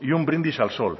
y un brindis al sol